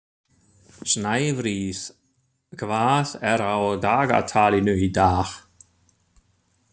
Snæfríð, hvað er á dagatalinu í dag?